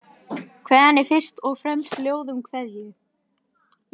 Kveðjan er fyrst og fremst ljóð um kveðju.